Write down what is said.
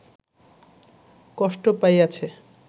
কষ্ট পাইয়াছে